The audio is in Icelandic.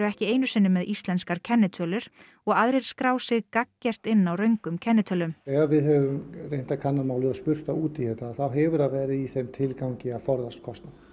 ekki einu sinni með íslenskar kennitölur og aðrir skrái sig gagngert inn á röngum kennitölum ef við höfum reynt að kanna málið og spurt þá út í þetta þá hefur það verið í þeim tilgangi að forðast kostnað